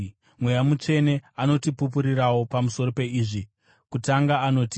Mweya Mutsvene anotipupurirawo pamusoro peizvi. Kutanga anoti: